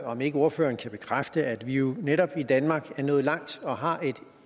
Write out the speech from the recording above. om ikke ordføreren kan bekræfte at vi jo netop i danmark er nået langt og har et